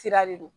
Sira de do